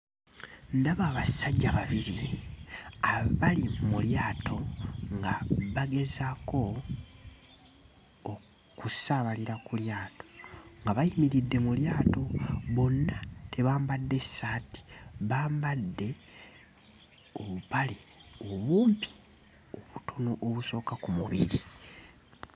Ndaba abasajja babiri abali mu lyato nga bagezaako okusaabalira ku lyato nga bayimiridde mu lyato bonna tebambadde ssaati bambadde obupale obumpi obutono obusooka ku mubiri.